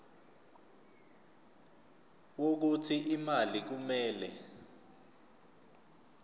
wokuthi imali kumele